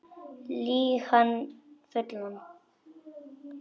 Lýg hann fullan